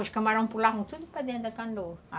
Os camarão pulavam tudo para dentro da canoa.